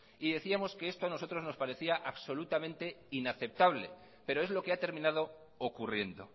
y decíamos que esto a nosotros nos parecía absolutamente inaceptable pero es lo que ha terminado ocurriendo